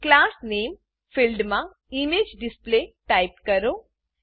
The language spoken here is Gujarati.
ક્લાસ નામે ક્લાસ નેમ ફિલ્ડમાં ઇમેજેડિસપ્લે ઈમેજડિસ્પ્લે ટાઈપ કરો